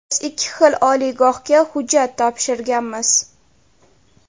Biz ikki xil oliygohga hujjat topshirganmiz.